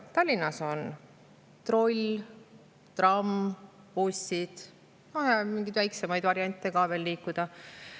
Tallinnas on troll, tramm, bussid ja veel mingeid väiksemaid variante liikuda.